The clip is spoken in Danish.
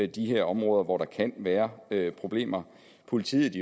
de her områder hvor der kan være problemer politiet